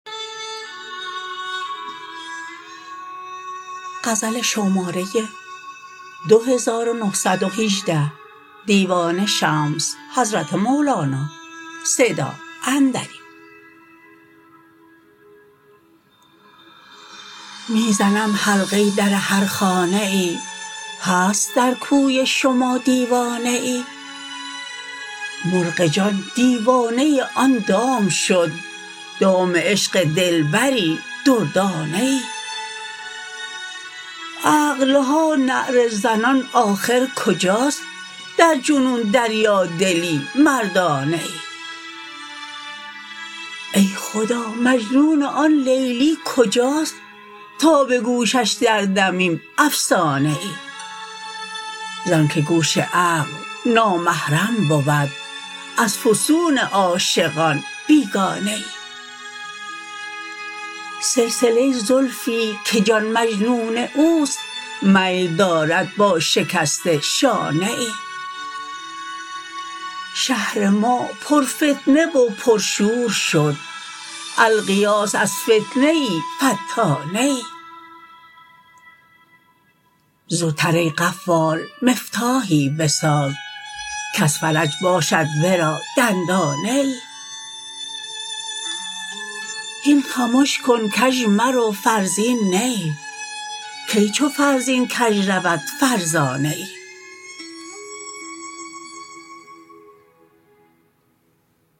می زنم حلقه در هر خانه ای هست در کوی شما دیوانه ای مرغ جان دیوانه آن دام شد دام عشق دلبری دردانه ای عقل ها نعره زنان کآخر کجاست در جنون دریادلی مردانه ای ای خدا مجنون آن لیلی کجاست تا به گوشش دردمیم افسانه ای زانکه گوش عقل نامحرم بود از فسون عاشقان بیگانه ای سلسله زلفی که جان مجنون او است میل دارد با شکسته شانه ای شهر ما پرفتنه و پرشور شد الغیاث از فتنه فتانه ای زوتر ای قفال مفتاحی بساز کز فرج باشد ورا دندانه ای هین خمش کن کژ مرو فرزین نه ای کی چو فرزین کژ رود فرزانه ای